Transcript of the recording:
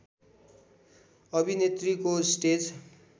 अभिनेत्रीको स्टेज